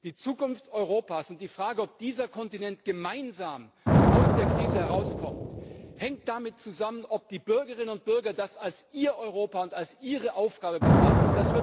Die Zukunft Europas und die Frage, ob dieser Kontinent gemeinsam aus der Krise herauskommt, hängen davon ab, ob die Bürgerinnen und Bürger das als ihr Europa und ihre Aufgabe betrachten.